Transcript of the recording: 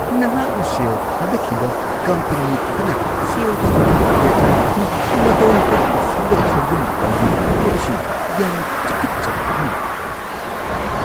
ꯅꯍꯥꯛꯅ ꯁꯦꯜ ꯊꯥꯗꯈꯤꯕ ꯀꯝꯄꯅꯤ ꯑꯗꯨꯅ ꯁꯦꯜ-ꯊꯨꯝꯒꯤ ꯗꯦꯇꯥ ꯑꯗꯨ ꯃꯇꯧ ꯀꯔꯝꯅ ꯁꯦꯝꯗꯣꯛ-ꯁꯦꯝꯖꯤꯟ ꯇꯧꯋꯤ ꯍꯥꯏꯕꯁꯤꯅ ꯌꯥꯝꯅ ꯇꯨꯀꯠꯆꯕ ꯄꯣꯛꯍꯜꯂꯤ꯫